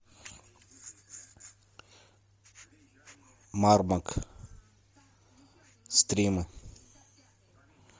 мармок стримы